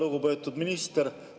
Lugupeetud minister!